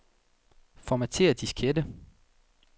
Formatér diskette.